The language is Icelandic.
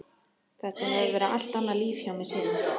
Þetta hefur verið allt annað líf hjá mér síðan.